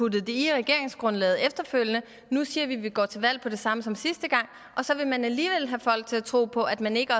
det i regeringsgrundlaget efterfølgende og nu siger vi at vi går til valg på det samme som sidste gang og så vil man alligevel have folk til at tro på at man ikke